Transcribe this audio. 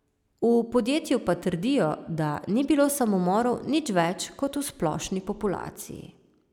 V podjetju pa trdijo, da ni bilo samomorov nič več kot v splošni populaciji.